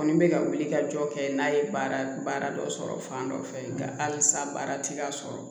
Kɔni bɛ ka wili ka jɔ kɛ n'a ye baara dɔ sɔrɔ fan dɔ fɛ nka halisa baaratigi ka sɔrɔ